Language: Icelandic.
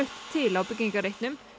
til á byggingarreitnum